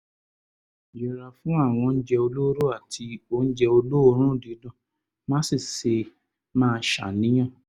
yẹra fún àwọn oúnjẹ olóró àti oúnjẹ olóòórùn dídùn má sì ṣe máa ṣàníyàn